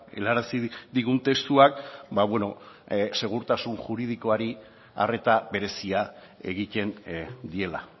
helarazi digun testuak segurtasun juridikoari arreta berezia egiten diela